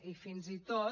i fins i tot